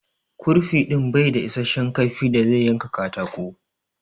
Ƙurfi din bai da issashen kaifi da zai yanka katako.